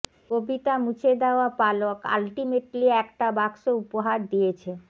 কবিতা মুছে দেওয়া পালক আল্টিমেটলি একটা বাক্স উপহার দিয়েছে